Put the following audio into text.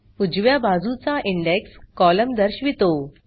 उजव्या बाजूचा index column दर्शवितो